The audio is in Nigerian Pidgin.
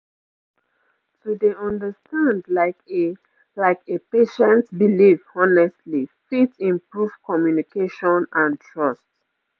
to dey understand like a like a patient belief honestly fit improve communication and trust